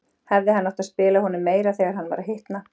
Hefði hann átt að spila honum meira þegar hann var að hitna?